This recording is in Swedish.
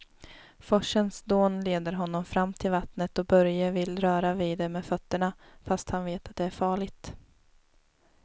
Forsens dån leder honom fram till vattnet och Börje vill röra vid det med fötterna, fast han vet att det är farligt.